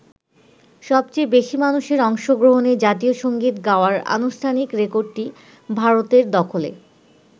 সবচেয়ে বেশি মানুষের অংশগ্রহণে জাতীয় সঙ্গীত গাওয়ার আনুষ্ঠানিক রেকর্ডটি ভারতের দখলে।